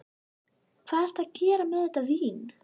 Hvað ertu að gera með þetta vín?